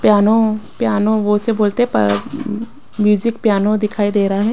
Piano piano वो से बोलते हैं पर म्यूजिक पियानो दिखाई दे रहा है।